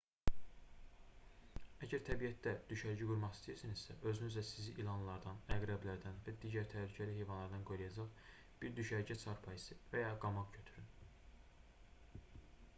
əgər təbiətdə düşərgə qurmaq istəyirsinizsə özünüzlə sizi ilanlardan əqrəblərdən və digər təhlükəli heyvanlardan qoruyacaq bir düşərgə çarpayısı və ya qamaq götürün